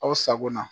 Aw sago na